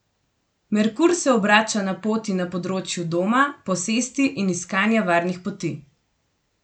Merkur se obrača na poti na področju doma, posesti in iskanja varnih poti.